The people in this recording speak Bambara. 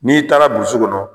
N'i taara burusi kɔnɔ